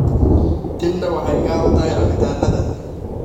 Tinda waxay gaar u tahay cabitaannada.